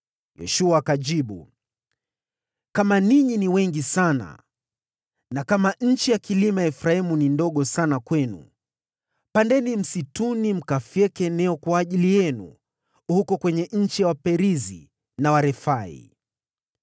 Yoshua akajibu, “Kama ninyi ni wengi sana, na kama nchi ya vilima ya Efraimu ni ndogo sana kwenu, pandeni msituni mkafyeke eneo kwa ajili yenu wenyewe huko kwenye nchi ya Waperizi na Warefai.”